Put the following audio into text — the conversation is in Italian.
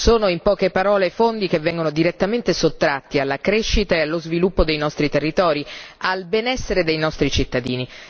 Sono, in poche parole, fondi che vengono direttamente sottratti alla crescita e allo sviluppo dei nostri territori e al benessere dei nostri cittadini.